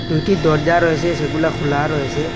দুইটি দরজা রয়েসে সেগুলা খোলা রয়েসে।